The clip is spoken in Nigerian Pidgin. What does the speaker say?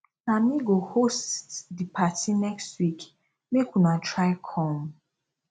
na me go host di party next week make una try come